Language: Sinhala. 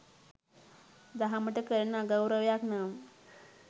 දහමට කරන අගෞරවයක් නම්